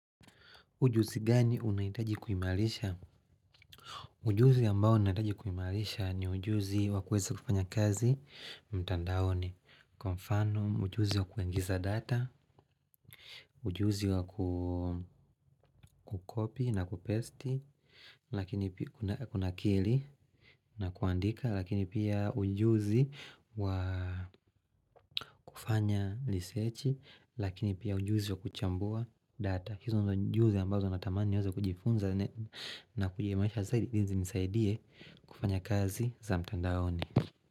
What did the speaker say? Ujuzi gani unahitaji kuimarisha? Ujuzi ambao unahitaji kuimarisha ni ujuzi wakuweza kufanya kazi mtandaoni. Kwa mfano, ujuzi wa kuingiza data, ujuzi wa kukopi na kupesti, lakini kunakili na kuandika, lakini pia ujuzi wa kufanya risechi, lakini pia ujuzi wa kuchambua data. Hizo ndio ujuzi ambazo natamani niweze kujifunza na kujimaisha zaidi ilizimsaidie kufanya kazi za mtandaoni.